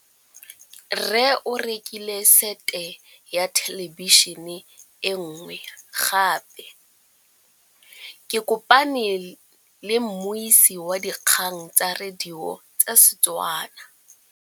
Rre o rekile sete ya thêlêbišênê e nngwe gape. Ke kopane mmuisi w dikgang tsa radio tsa Setswana.